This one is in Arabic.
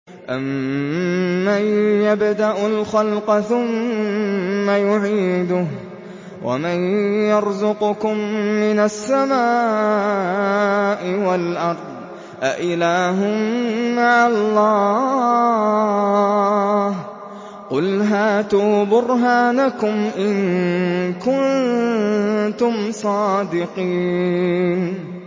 أَمَّن يَبْدَأُ الْخَلْقَ ثُمَّ يُعِيدُهُ وَمَن يَرْزُقُكُم مِّنَ السَّمَاءِ وَالْأَرْضِ ۗ أَإِلَٰهٌ مَّعَ اللَّهِ ۚ قُلْ هَاتُوا بُرْهَانَكُمْ إِن كُنتُمْ صَادِقِينَ